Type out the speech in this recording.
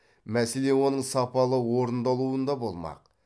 мәселе оның сапалы орындалуында болмақ